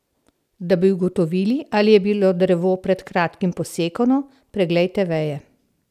Da bi ugotovili, ali je bilo drevo pred kratkim posekano, preglejte veje.